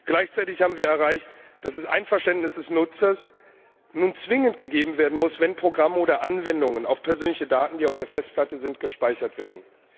Gleichzeitig haben wir erreicht, dass das Einverständnis des Nutzers nun zwingend gegeben werden muss, wenn Programme oder Anwendungen, auch persönliche Daten, die auf der Festplatte sind, gespeichert werden.